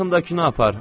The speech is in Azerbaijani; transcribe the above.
Yaxındakını apar.